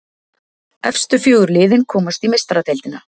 Efstu fjögur liðin komast í Meistaradeildina.